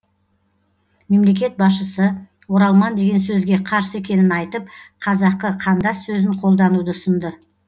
мемлекет басшысы оралман деген сөзге қарсы екенін айтып қазақы қандас сөзін қолдануды ұсынды